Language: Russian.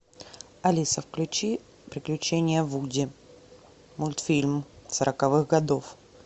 алиса включи приключения вуди мультфильм сороковых годов